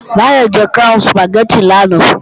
Báyọ̀ jẹ Crown Sùpàgẹ́tì lánàá